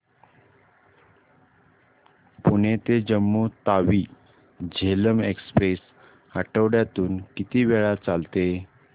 पुणे ते जम्मू तावी झेलम एक्स्प्रेस आठवड्यातून किती वेळा चालते